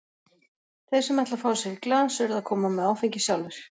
Þeir sem ætla að fá sér í glas urðu að koma með áfengið sjálfir.